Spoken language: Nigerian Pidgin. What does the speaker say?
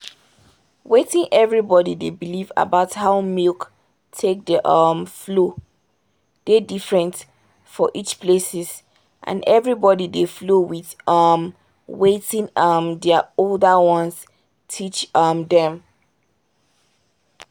wetin everybody dey believe about how milk take dey um flow dey different for each places and everybody dey flow with um wetin um their older ones teach um them.